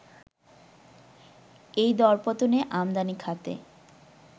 এই দরপতনে আমদানি খাতে